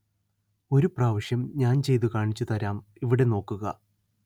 ഒരു പ്രാവശ്യം ഞാന്‍ ചെയ്തു കാണിച്ചു തരാം ഇവിടെ നോക്കുക